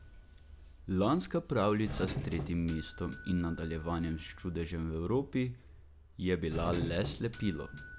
Lanska pravljica s tretjim mestom in nadaljevanjem s čudežem v Evropi je bila le slepilo.